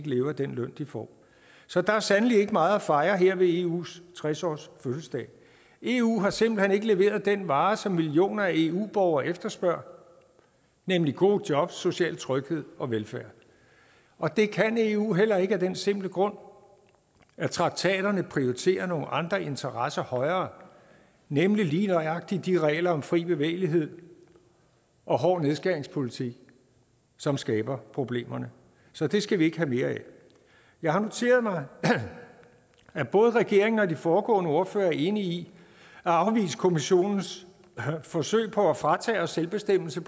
leve af den løn de får så der er sandelig ikke meget at fejre her ved eus tres årsfødselsdag eu har simpelt hen ikke leveret den vare som millioner af eu borgere efterspørger nemlig gode jobs social tryghed og velfærd og det kan eu heller ikke af den simple grund at traktaterne prioriterer nogle andre interesser højere nemlig lige nøjagtig de regler om fri bevægelighed og hård nedskæringspolitik som skaber problemerne så det skal vi ikke have mere af jeg har noteret mig at både regeringen og de foregående ordførere er enige i at afvise kommissionens forsøg på at fratage os selvbestemmelse